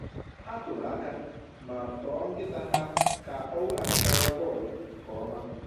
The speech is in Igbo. Ha kụrụ aka ma too nkịta ha ka o weghachitara bọọlụ nke ọma.